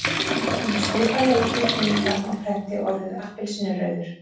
Um svipað leyti kemur fram á prenti orðið appelsínurauður.